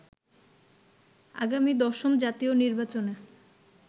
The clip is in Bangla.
আগামী দশম জাতীয় নির্বাচনে